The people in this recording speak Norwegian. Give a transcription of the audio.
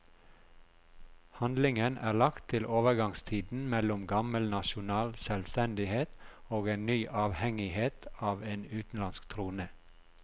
Handlingen er lagt til overgangstiden mellom gammel nasjonal selvstendighet og en ny avhengighet av en utenlandsk trone.